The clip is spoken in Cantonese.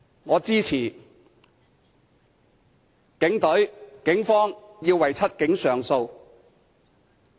我支持警隊為"七警"上訴。